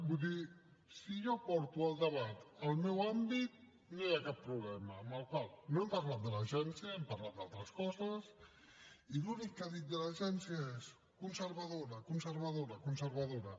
vull dir si jo porto el debat al meu àmbit no hi ha cap problema amb la qual cosa no hem parlat de l’agència hem parlat d’altres coses i l’únic que ha dit de l’agència és conservadora conservadora conservadora